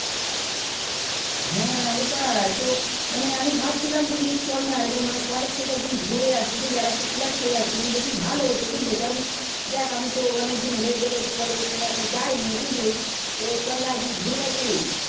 হ্যাঁ ওটাই তো মানে আমি ভাবছিলাম বুঝলি চল না এক দিন college থেকে ঘুরে আসি বুঝলি একটা class করে আসি মানে বেশি ভালো হতো বুঝলি কারণ দেখ আমি তো অনেক দিন হয়েই গেলো জে college মানে এখনো যাই নি বুঝলি তো চল না এক দিন ঘুরে আসি